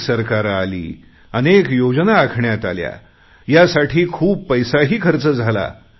अनेक सरकारे आली अनेक योजना आखण्यात आल्या यासाठी खूप पैसाही खर्च झाला